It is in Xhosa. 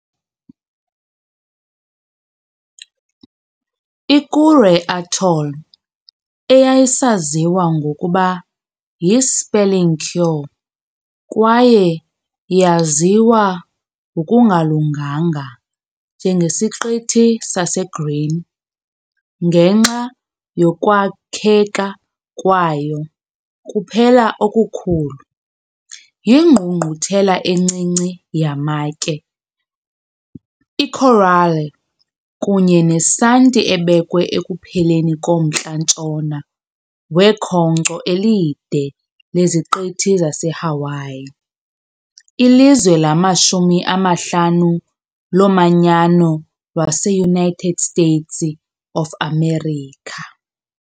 I-Kure Atoll, eyayisaziwa ngokuba yi-spelling Cure kwaye yaziwa ngokungalunganga njengeSiqithi saseGreen ngenxa yokwakheka kwayo kuphela okukhulu, yingqungquthela encinci yamatye, iikorale kunye nesanti ebekwe ekupheleni komntla-ntshona wekhonkco elide leziqithi zaseHawaii, ilizwe lamashumi amahlanu lomanyano lwaseUnited States of America.